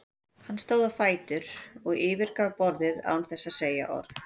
Hann stóð á fætur og yfirgaf borðið án þess að segja orð.